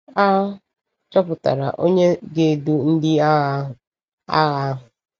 A chọpụtara onye ga-edu ndị agha ahụ. agha ahụ.